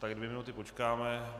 Tak dvě minuty počkáme.